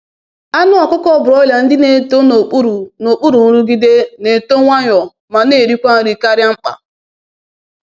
Anụ ọkụkọ broiler ndị na-eto n’okpuru n’okpuru nrụgide na-eto nwayọ ma na-erikwa nri karịa mkpa.